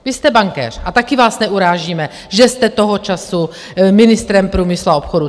Vy jste bankéř a taky vás neurážíme, že jste toho času ministrem průmyslu a obchodu.